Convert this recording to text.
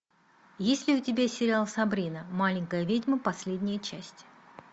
есть ли у тебя сериал сабрина маленькая ведьма последняя часть